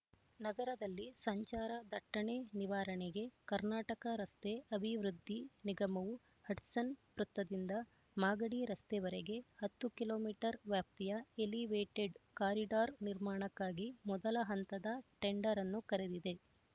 ನಗರದಲ್ಲಿ ಸಂಚಾರ ದಟ್ಟಣೆ ನಿವಾರಣೆಗೆ ಕರ್ನಾಟಕ ರಸ್ತೆ ಅಭಿವೃದ್ಧಿ ನಿಗಮವು ಹಡ್ಸನ್ ವೃತ್ತದಿಂದ ಮಾಗಡಿ ರಸ್ತೆವರೆಗೆ ಹತ್ತು ಕಿಲೋ ಮೀಟರ್ ವ್ಯಾಪ್ತಿಯ ಎಲಿವೇಟೆಡ್ ಕಾರಿಡಾರ್ ನಿರ್ಮಾಣಕ್ಕಾಗಿ ಮೊದಲ ಹಂತದ ಟೆಂಡರ್‌ನ್ನು ಕರೆದಿದೆ